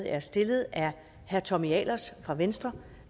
er stillet af herre tommy ahlers fra venstre